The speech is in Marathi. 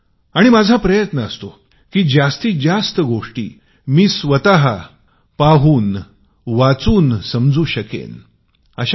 माझा जास्तीत जास्त असा प्रयत्न असतो की कमाल गोष्टी पाहून वाचून समजू शकू